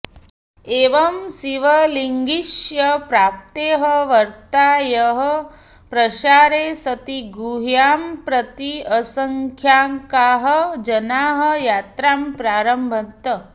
एवं शिवलिङ्गस्य प्राप्तेः वार्तायाः प्रसारे सति गुहां प्रति असङ्ख्याकाः जनाः यात्रां प्रारभन्त